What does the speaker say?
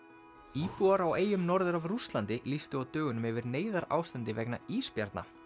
íbúar á eyjum norður af Rússlandi lýstu á dögunum yfir neyðarástandi vegna ísbjarna